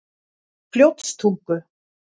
Fljótstungu